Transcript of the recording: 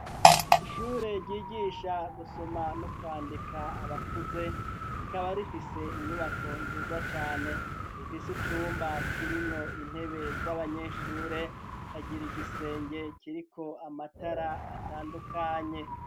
Ishure ryigisha gusoma no kwandika abakuze ,ikaba rifise inyubako nziza cane, ifise icumba kirinko intebe z'abanyeshure, Ikagira igisenge kiriko amatara atandukanye.